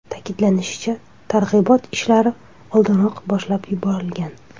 Ta’kidlanishicha, targ‘ibot ishlari oldinroq boshlab yuborilgan.